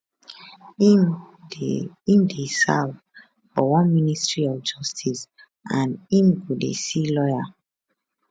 im dey im dey serve for one ministry of justice and im go dey see lawyer